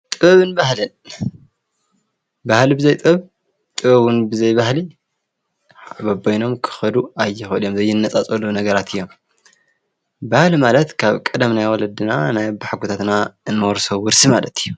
ጥበብን ባህልን ፤ ባህሊ ብዘይ ጥበብ ጥበብ እውን ብዘይ ባህሊ በበይኖም ኽከዱ ኣይኽእሉ ዘይነፃፀሉ ነገራት እዮም። ባህሊ ማለት ካብ ቀደም ናይ ወለድና ናይ ኣቦሓጎታትና እንወርሶ ውርሲ ማለት እዩ።